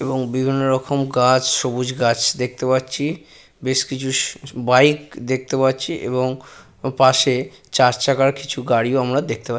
এবং বিভিন্ন রকম গাছ সবুজ গাছ দেখতে পাচ্ছি বেশ কিছু শশ বাইক দেখতে পাচ্ছি এবং ও পাশে চার চাকার কিছু গাড়িও আমরা দেখতে পা--